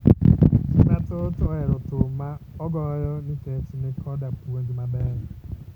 Ji mathoth ohero thum ma ogoyo nkech ni koda puonj ma beyo